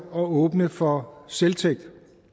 åbne for selvtægt